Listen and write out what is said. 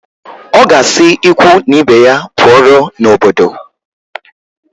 Ọ ga-asị ikwu na ibe ya pụọrọ n'obodo